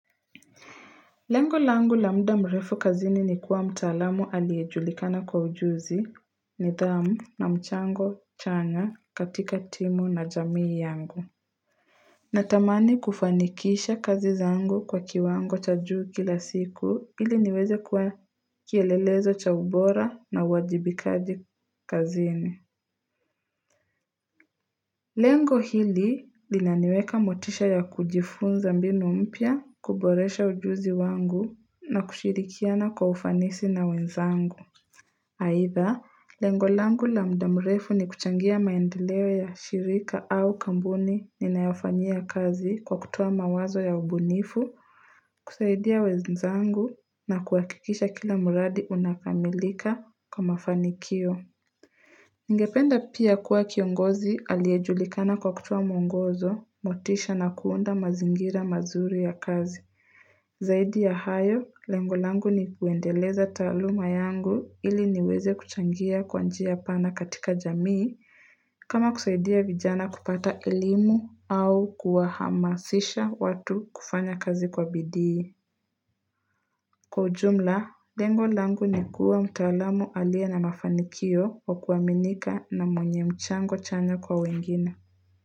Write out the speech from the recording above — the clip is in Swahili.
Lengo langu la muda mrefu kazini ni kuwa mtaalamu aliyejulikana kwa ujuzi, nidhamu na mchango chanya katika timu na jamii yangu. Natamani kufanikisha kazi zangu kwa kiwango cha juu kila siku ili niweze kuwa kielelezo cha ubora na uajibikaji kazini. Lengo hili linaniweka motisha ya kujifunza mbinu mpya, kuboresha ujuzi wangu na kushirikiana kwa ufanisi na wenzangu. Aitha, lengo langu la muda mrefu ni kuchangia maendeleo ya shirika au kampuni ninayofanyia kazi kwa kutowa mawazo ya ubunifu, kusaidia wenzangu na kuakikisha kila mradi unakamilika kwa mafanikio. Nigependa pia kuwa kiongozi aliyejulikana kwa kutoa mwongozo, motisha na kuunda mazingira mazuri ya kazi. Zaidi ya hayo, lengo langu ni kuendeleza taaluma yangu ili niweze kuchangia kwa njia pana katika jamii kama kusaidia vijana kupata elimu au kuwahamasisha watu kufanya kazi kwa bidii. Kwa ujumla, lengo langu ni kuwa mtaalamu aliye na mafanikio wa kuaminika na mwenye mchango chanya kwa wengine.